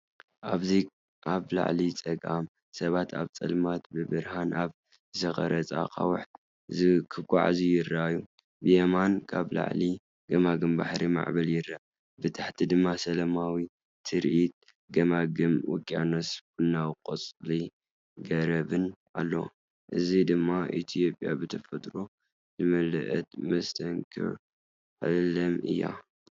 ኣብዚ ኣብ ላዕሊ ጸጋም፡ሰባት ኣብ ጸልማት ብብርሃን ኣብ ዝተቐርጸ ኣኻውሕ ክጓዓዙ ይረኣዩ። ብየማን ካብ ላዕሊ ገማግም ባሕርን ማዕበልን ይርአ። ብታሕቲ ድማ ሰላማዊ ትርኢት ገማግም ውቅያኖስን ቡናዊ ቆጽሊ ገረብን ኣሎ። እዚ ድማ ኢትዮጵያ ብተፈጥሮ ዝመልአት መስተንክር ዓለም እያ!።